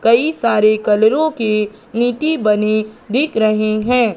कई सारे कलरों के ईंटे बनी दिख रहे है।